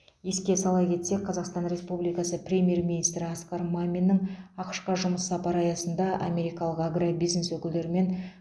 еске сала кетсек қазақстан республикасы премьер министрі асқар маминнің ақш қа жұмыс сапары аясында америкалық агробизнес өкілдерімен